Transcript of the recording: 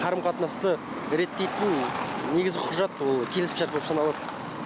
қарым қатынасты реттейтін негізгі құжат ол келісімшарт болып саналады